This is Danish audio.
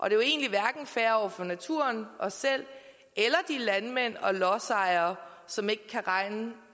er jo egentlig hverken fair over for naturen os selv eller de landmænd og lodsejere som ikke kan regne